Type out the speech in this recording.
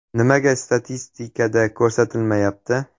Nimaga statistikada ko‘rsatilmayapti?